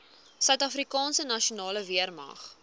suidafrikaanse nasionale weermag